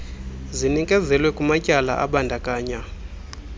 zinikezelwe kumatyala abandakanya